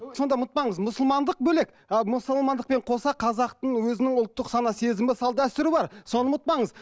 ұмытпаңыз мұсылмандық бөлек ы мұсылмандықпен қоса қазақтың өзінің ұлттық сана сезімі салт дәстүрі бар соны ұмытпаңыз